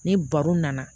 Ni baro nana